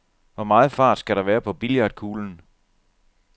Hvor meget fart skal der være på billiardkuglen?